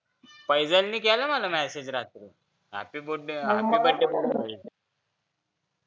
फैजल नि केला मला message रात्री happy birthday बोलायला